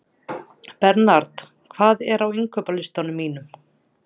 Bernharð, hvað er á innkaupalistanum mínum?